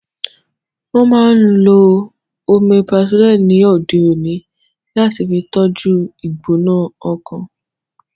Wọ́n máa n lo Omeprazole ni òde òní láti fi tọ́jú u ìgbóná ọkàn